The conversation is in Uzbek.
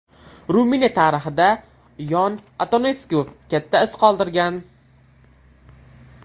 Ruminiya tarixida Yon Antonesku katta iz qoldirgan.